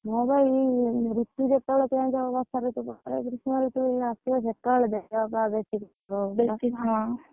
ହଁ, ବା ଏଇ, ଋତୁ ଯେତେବେଳେ change ହବ ବର୍ଷା ଋତୁ, ଗ୍ରୀଷ୍ମ ଋତୁ ଏବେ ଆସିବ ସକାଳ ଦେହ ଫେହ ବେଶୀ ଖରାପ ହବ, ଦେଖିକି ବେଶୀ ହଁ,